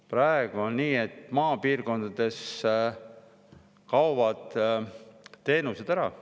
Praegu on nii, et maapiirkondades kaovad teenused ära.